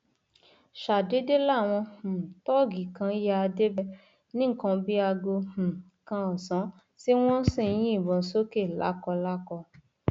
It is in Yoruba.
ṣàdédé làwọn um tóògì kan yá débẹ ní nǹkan bíi aago um kan ọsán tí wọn sì ń yìnbọn sókè lákọlákọ